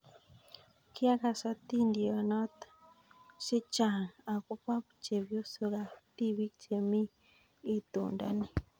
Kiakas atindionot chehcang akobo chepyosok ak tibik chemii itonda ni.